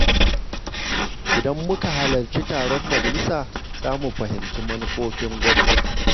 Idan muka halarci taron majalisa, za mu fahimci manufofin gwamnati.